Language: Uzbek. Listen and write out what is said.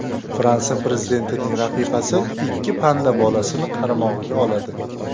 Fransiya prezidentining rafiqasi ikki panda bolasini qaramog‘iga oladi.